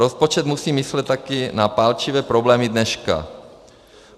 Rozpočet musí myslet taky na palčivé problémy dneška.